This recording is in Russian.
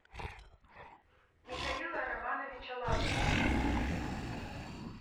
михаила романовича лазарева